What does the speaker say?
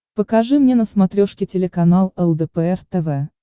покажи мне на смотрешке телеканал лдпр тв